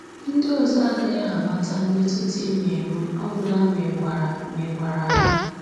Ndị ọzọ agaghị amata mmetụta ị na-enwe ọ gwụla ma ị gwara ma ị gwara ha